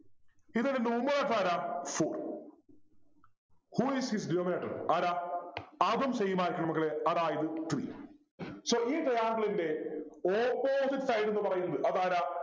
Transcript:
ഇതിൻ്റെ Numerator ആരാ four Who is its denominator ആരാ അതും same ആയിരിക്കും മക്കളെ അതായത് three so ഈ Triangle ൻ്റെ opposite side ന്നു പറയുന്നത് അതാരാ